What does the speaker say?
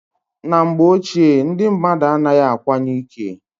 Na mgbe ochie ndi mmadụ anaghị akwanye ike.